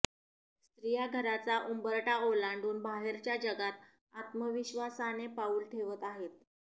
स्त्रीया घराचा उंबरठा ओलांडून बाहेरच्या जगात आत्मविश्वासाने पाऊल ठेवत आहे